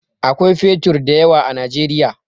Akwai fetur da yawa a Najeriya.